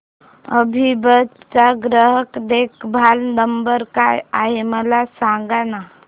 अभिबस चा ग्राहक देखभाल नंबर काय आहे मला सांगाना